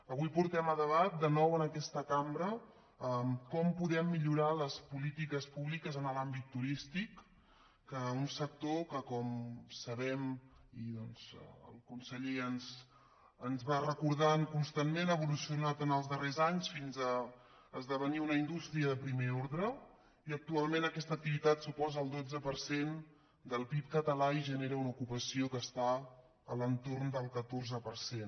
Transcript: avui portem a debat de nou en aquesta cambra com podem millorar les polítiques públiques en l’àmbit turístic un sector que com sabem i doncs el conseller ens va recordant constantment ha evolucionat en els darrers anys fins a esdevenir una indústria de primer ordre i actualment aquesta activitat suposa el dotze per cent del pib català i genera una ocupació que està entorn del catorze per cent